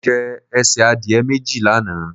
Mo jẹ ẹsẹ̀ adìẹ méjì lánàá.